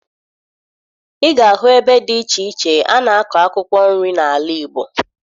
Ị ga-ahụ ebe dị iche iche a na-akọ akwụkwọ nri n'ala Igbo